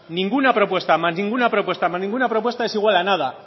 ninguna propuesta más ninguna propuesta más ninguna propuesta es igual a nada